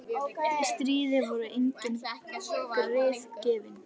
Í stríði voru engin grið gefin.